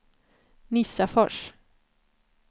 Nissafors